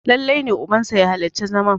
lallai ne ubansa ya halarci zaman!